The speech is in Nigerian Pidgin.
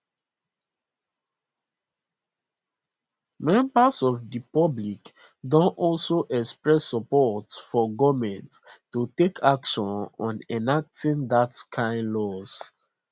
members of di public don also express support for goment to take action on enacting dat kain laws